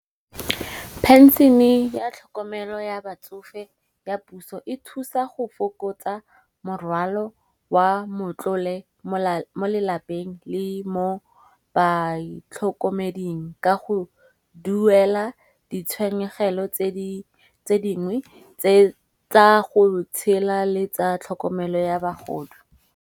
Pension-e ya tlhokomelo ya batsofe ya puso e thusa go fokotsa morwalo wa motlole mo lapeng le mo baitlhokomeding. Ka go duela ditshenyegelo tse dingwe tse tsa go tshela le tsa tlhokomelo ya bogodu.